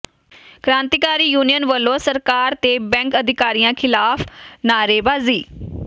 ਕ੍ਰਾਂਤੀਕਾਰੀ ਯੂਨੀਅਨ ਵਲੋਂ ਸਰਕਾਰ ਤੇ ਬੈਂਕ ਅਧਿਕਾਰੀਆਂ ਿਖ਼ਲਾਫ਼ ਨਾਅਰੇਬਾਜ਼ੀ